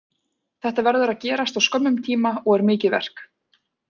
Þetta verður að gerast á skömmum tíma og er mikið verk.